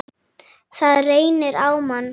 Það reynir á mann!